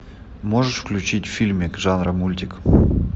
можешь включить фильмик жанра мультик